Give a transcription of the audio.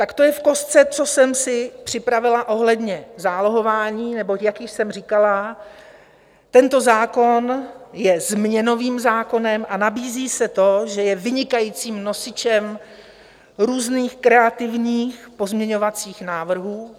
Tak to je v kostce, co jsem si připravila ohledně zálohování, neboť jak již jsem říkala, tento zákon je změnovým zákonem a nabízí se to, že je vynikajícím nosičem různých kreativních pozměňovacích návrhů.